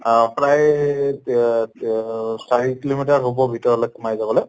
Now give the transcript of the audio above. অহ প্ৰায় য়া য়াৰ চাৰি kilo meter হʼব ভিতৰলে সোমাই যাবলৈ